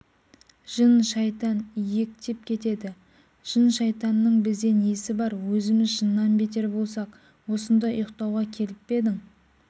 жын-шайтан иектеп кетеді жын-шайтанның бізде несі бар өзіміз жыннан бетер болсақ осында ұйықтауға келіп пе едің